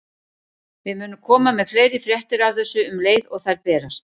Við munum koma með fleiri fréttir af þessu um leið og þær berast.